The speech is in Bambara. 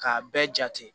K'a bɛɛ jate